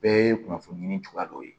Bɛɛ ye kunnafoni di ni cogoya dɔw ye